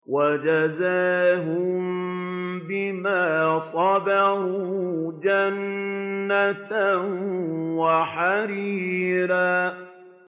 وَجَزَاهُم بِمَا صَبَرُوا جَنَّةً وَحَرِيرًا